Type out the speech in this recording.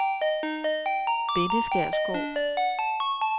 Bendeskær Skov